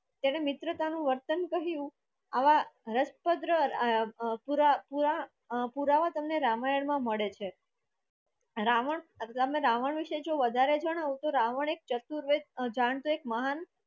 તને મિત્રતાનું વર્તન કહ્યું આવા રસપદરા અ આ પુરાવા તમે રામાયણ મા મળે છે રાવણ તમને રાવણ વીસે વધરે જવાન તો રાવણ એક ચતુર વેદ જાણતો એક મહાન